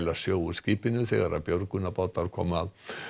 sjó úr skipinu þegar björgunarbátar komu að